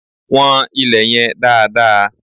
Wọ́n ilè yẹn dáadáa!